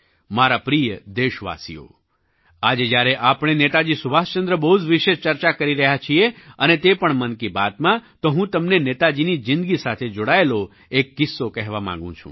મારા પ્રિય દેશવાસીઓ આજે જ્યારે આપણે નેતાજી સુભાષચંદ્ર બોઝ વિશે ચર્ચા કરી રહ્યા છીએ અને તે પણ મન કી બાતમાં તો હું તમને નેતાજીની જિંદગી સાથે જોડાયેલો એક કિસ્સો કહેવા માગું છું